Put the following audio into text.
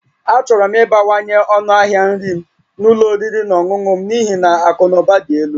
Achọrọ m ịbawanye ọnụ ahịa nri na ụlọ oriri na ọṅụṅụ m n'ihi na akụ na ụba dị elu